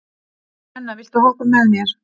Nenna, viltu hoppa með mér?